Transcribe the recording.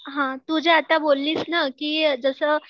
हा तु जे आता बोललीस ना कि जसं